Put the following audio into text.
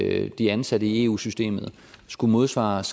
at de ansatte i eu systemet skulle modsvares